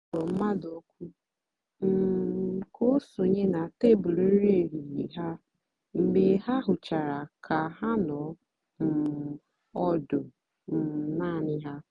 ha kpọ̀rọ̀ mmadụ́ òkù́ um kà o sònyè na tèbụ́lụ́ nri èhìhiè ha mgbe ha hụ̀chàra kà ha nọ̀ um ọ́dụ́ um naanì ha.